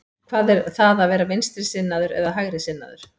Hvað er það að vera vinstrisinnaður eða hægrisinnaður?